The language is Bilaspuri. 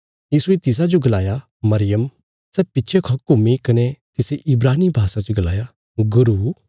यीशुये तिसाजो गलाया मरियम सै पिच्छे खौ घुम्मी कने तिसे इब्रानी भाषा च गलाया गुरू